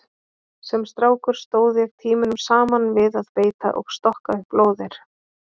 Sem strákur stóð ég tímunum saman við að beita og stokka upp lóðir.